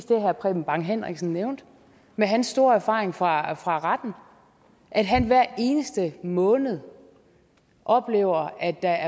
det herre preben bang henriksen nævnte med hans store erfaring fra fra retten at han hver eneste måned oplever at der